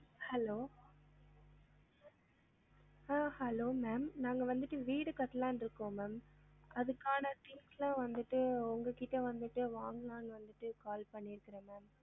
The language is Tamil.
Hello ஆஹ் hello ma'am நாங்க வந்துட்டு வீடு கட்டலான்னு இருக்கோம் ma'am அதுக்கான things லாம் வந்துட்டு உங்க கிட்ட வந்துட்டு வாங்கலான்னு வந்துட்டு call பண்ணிருக்கிறேன் ma'am